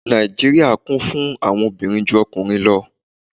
Nijíríría Kún fún àwọn òbirin ju ọkunrin lọ